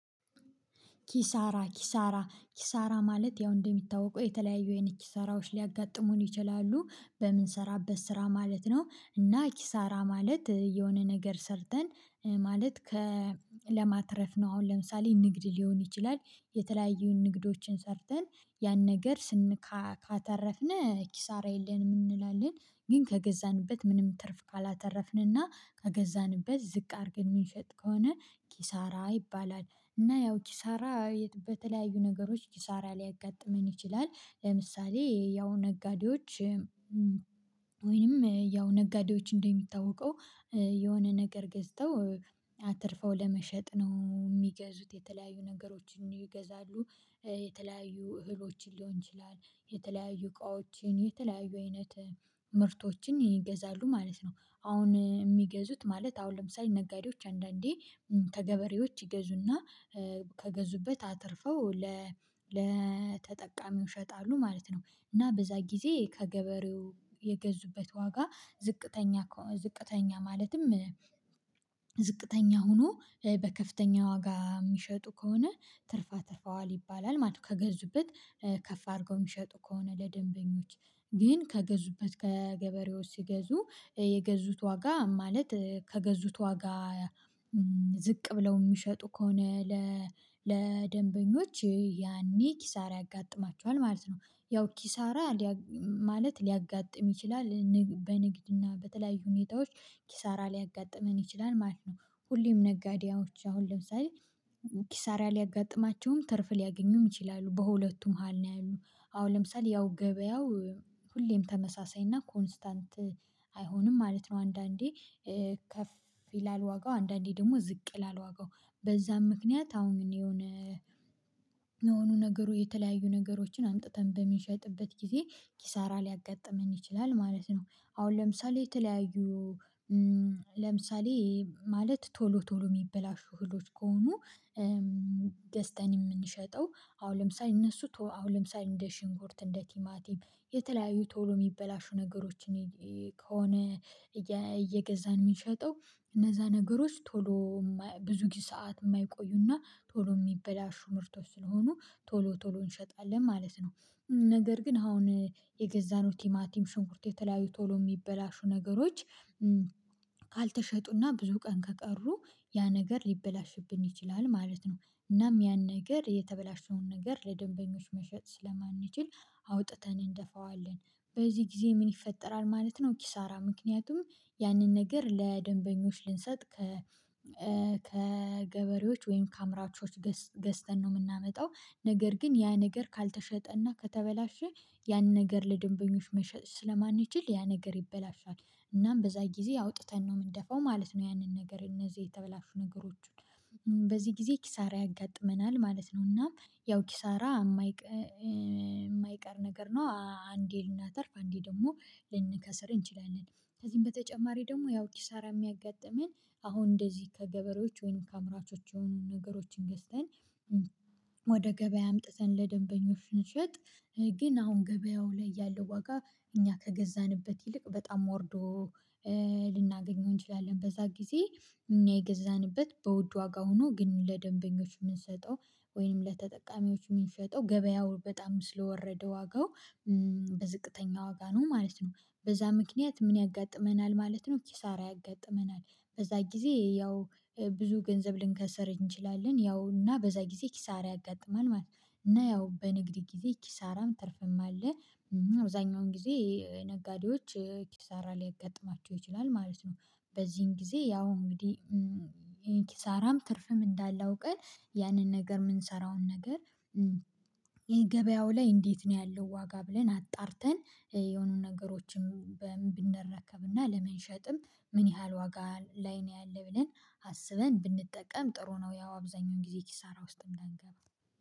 ኪሳራ ኪሳራ ኪሳራ ማለት ያው እንደሚታወቀው የተለያዩ አይነት ኪሳራዎች ሊያጋጥሙን ይችላሉ በምንሰራበት ስራ ማለት ነው እና ኪሳራ ማለት የሆነ ነገር ሰርተን ማለት ከ ለማትረፍ ነው። አሁን ለምሳሌ ንግድ ሊሆን ይችላል የተለያዩ ንግዶችን ሰርተን ያን ነገር ካተረፍን ኪሳራ የለንም እንላለን። ግን ከገዛንበት ምንም ትርፍ ካላተረፍንና ከገዛንበት ዝቅ አድርገን የሚሸጥ ከሆነ ኪሳራ ይባላል። እና ያው ኪሳራ በተለያዩ ነገሮች ኪሳራ ሊያጋጥመን ይችላል። ለምሳሌ ያው ነጋዴዎች። ወይንም ያው ነጋዴዎች እንደሚታወቀው የሆነ ነገር ገዝተው አትርፈው ለመሸጥ ነው የሚገዙት የተለያዩ ነገሮችን ይገዛሉ። የተለያዩ እህሎችን ሊሆን ይችላል የተለያዩ እቃዎችን የተለያዩ አይነት ምርቶችን ይገዛሉ ማለት ነው። አሁን የሚገዙት ማለት አሁን ለምሳሌ ነጋዴዎች አንዳንዴ ከገበሬዎች ይገዙና ከገዙበት አትርፈው ለተጠቃሚው ይሸጣሉ ማለት ነው። እና በዛ ጊዜ ከገበሬው የገዙበት ዋጋ ዝቅተኛ ዝቅተኛ ማለትም ዝቅተኛ ሆኖ በከፍተኛ ዋጋ የሚሸጡ ከሆነ ትርፋ አትርፈዋል ይባላል ማለት ነው። ከገዙበት ከፍ አድርገው የሚሸጡ ከሆነ ለደንበኞች ግን ከገዙበት ከገበሬዎች ሲገዙ የገዙት ዋጋ ማለት ከገዙት ዋጋ ዝቅ ብለው የሚሸጡ ከሆነ ለደንበኞች ያኔ ኪሳራ ያጋጥማቸዋል ማለት ነው። ያው ኪሳራ ማለት ሊያጋጥም ይችላል በንግድና በተለያዩ ሁኔታዎች ኪሳራ ሊያጋጥመን ይችላል ማለት ነው። ሁሌም ነጋዴዎች አሁን ለምሳሌ ኪሳራ ሊያጋጥማቸውም ትርፍ ሊያገኙም ይችላሉ በሁለቱም መሃል ነው ያሉት። አሁን ለምሳሌ ያው ገበያው ሁሌም ተመሳሳይ እና ኮንስታንት አይሆንም ማለት ነው። አንዳንዴ ከፍ ይላል ዋጋው አንዳንዴ ደግሞ ዝቅ ይላል ዋጋው። በዛም ምክንያት አሁን የሆነ የሆኑ ነገሩ የተለያዩ ነገሮችን አምጥተን በሚሸጥበት ጊዜ ኪሳራ ሊያጋጥመን ይችላል ማለት ነው። አሁን ለምሳሌ የተለያዩ ለምሳሌ ማለት ቶሎ ቶሎ የሚበላሹ እህሎች ከሆኑ ገዝተን የምንሸጠው አሁን ለምሳሌ እነሱ አሁን ለምሳሌ እንደ ሽንኩርት እንደ ቲማቲም የተለያዩ ቶሎ የሚበላሹ ነገሮችን ከሆነ እየገዛን የምንሸጠው እነዛ ነገሮች ቶሎ ብዙ ሰዓት የማይቆዩና ቶሎ የሚበላሹ ምርቶች ስለሆኑ ቶሎ ቶሎ እንሸጣለን ማለት ነው። ነገር ግን አሁን የገዛነው ቲማቲም ሽንኩርት የተለያዩ ቶሎ የሚበላሹ ነገሮች ካልተሸጡና ብዙ ቀን ከቀሩ ያ ነገር ሊበላሽብን ይችላል ማለት ነው። እናም ያን ነገር የተበላሸውን ነገር ለደንበኞች መሸጥ ስለማንችል አውጥተን እንደፋዋለን በዚህ ጊዜ ምን ይፈጠራል ማለት ነው? ኪሳራ ምክንያቱም ያንን ነገር ለደንበኞች ልንሰጥ ከገበሬዎች ወይም ከአምራቾች ገዝተን ነው የምናመጣው ነገር ግን ያ ነገር ካልተሸጠ እና ከተበላሸ ያን ነገር ለደንበኞች መሸጥ ስለማንችል ያ ነገር ይበላሻል እናም በዛ ጊዜ አውጥተን ነው የምንደፋው ማለት ነው። ያንን ነገር እነዚህ የተበላሹ በዚህ ጊዜ ኪሳራ ያጋጥመናል ማለት ነው። እና ያው ኪሳራ የማይቀር ነገር ነው አንዴ ልናተርፍ አንዴ ደግሞ ልንከስር እንችላለን። ከዚህም በተጨማሪ ደግሞ ያው ኪሳራ የሚያጋጥመን አሁን እንደዚህ ከገበሬዎች ወይም ከአምራቾች የሆኑ ነገሮችን ገዝተን ወደ ገበያ አምጥተን ለደንበኞች ስንሸጥ ግን አሁን ገበያው ላይ ያለው ዋጋ እኛ ከገዛንበት ይልቅ በጣም ወርዶ ልናገኘው እንችላለን በዛ ጊዜ እኛ የገዛንበት በውድ ዋጋ ሆኖ ግን ለደንበኞች የምንሰጠው ወይም ለተጠቃሚዎች የምንሸጠው ገበያው በጣም ስለወረደ ዋጋው በዝቅተኛ ዋጋ ነው ማለት ነው። በዛ ምክንያት ምን ያጋጥመናል ማለት ነው ኪሳራ ያጋጥመናል። በዛ ጊዜ ያው ብዙ ገንዘብ ልንከስር እንችላለን ያው እና በዛ ጊዜ ኪሳራ ያጋጥማል ማለት ነው። እና ያው በንግድ ጊዜ ኪሳራም ትርፍም አለ። አብዛኛውን ጊዜ ነጋዴዎች ኪሳራ ሊያጋጥማቸው ይችላል ማለት ነው። በዚህን ጊዜ ያው እንግዲህ ኪሳራም ትርፍም እንዳላ አውቀን ያንን ነገር የምንሰራውን ነገር። ገበያው ላይ እንዴት ነው ያለው ዋጋ ብለን አጣርተን? የሆኑን ነገሮችን በምን ብንረከብና ለመሸጥም ምን ያህል ዋጋ ላይ ነው ያለ ብለን አስበን ብንጠቀም ጥሩ ነው። ያው አብዛኛውን ጊዜ ኪሳራ ውስጥም እንዳንገባ